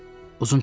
Uzun çəkdi.